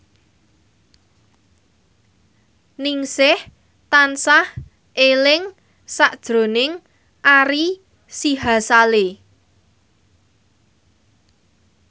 Ningsih tansah eling sakjroning Ari Sihasale